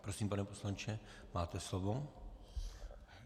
Prosím, pane poslanče, máte slovo.